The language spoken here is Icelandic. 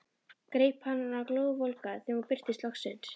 Greip hana glóðvolga þegar hún birtist loksins.